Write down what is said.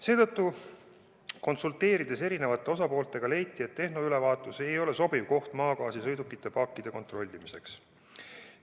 Seetõttu, konsulteerides eri osalistega, leiti, et tehnoülevaatus ei ole sobiv koht maagaasisõidukite paakide kontrollimiseks.